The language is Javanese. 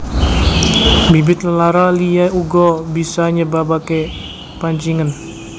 Bibit lelara liya uga bisa nyebabake pancingen